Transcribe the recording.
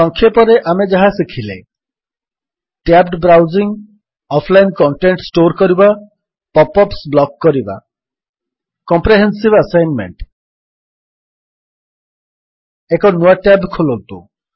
ସଂକ୍ଷେପରେ ଆମେ ଯାହା ଶିଖିଲେ tabbed browsing offline content store କରିବା ପପ୍ ଅପ୍ସ ବ୍ଲକ୍ କରିବା କମ୍ପ୍ରେହେନ୍ସିଭ୍ ଆସାଇନମେଣ୍ଟ ଏକ ନୂଆ ଟ୍ୟାବ୍ ଖୋଲନ୍ତୁ